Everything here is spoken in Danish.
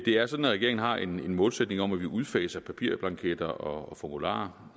er sådan at regeringen har en målsætning om at vi udfaser papirblanketter og formularer